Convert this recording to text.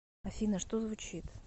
афина что звучит